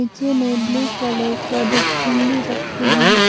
पीछे में blue colour का डस्टबिन भी रखे हैं।